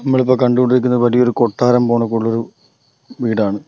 നമ്മൾ ഇപ്പൊ കണ്ട് കൊണ്ടിരിക്കുന്നത് വലിയ ഒരു കൊട്ടാരം വീടാണ്.